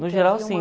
No geral, sim.